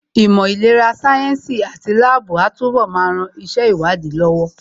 Ìmọ̀ ìlera sáyẹ́ǹsì àti láàbù á túnbọ̀ máa ran iṣẹ́ ìwádìí lọ́wọ́